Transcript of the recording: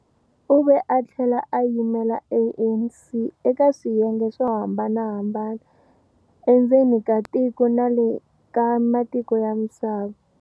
U ve a tlhela a yimela ANC eka swiyenge swo hambanahambana endzeni ka tiko na le ka matiko ya misava.